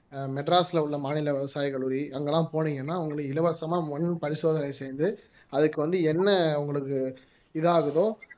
மெட்ராஸ்ல உள்ள மாநில விவசாய கல்லூரி அங்கெல்லாம் போனீங்கன்னா உங்களுக்கு இலவசமா மண் பரிசோதனை செய்து அதுக்கு வந்து என்ன உங்களுக்கு இதாகுதோ